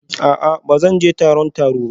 A'a ba zan je taron taro ba